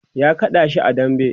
ya kada shi a dambe